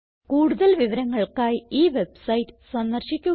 കൂടുതൽ വിവരങ്ങൾക്കായി ഈ വെബ്സൈറ്റ് സന്ദർശിക്കുക